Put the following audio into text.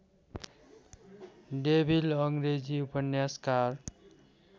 devil अङ्ग्रेजी उपन्यासकार